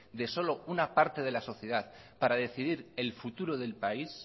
de solo una parte de la sociedad para decidir el futuro del país